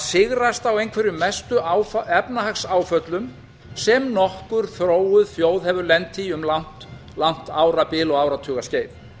sigrast á einhverjum mestu efnahagsáföllum sem nokkur þróuð þjóð hefur lent í um langt árabil og áratuga skeið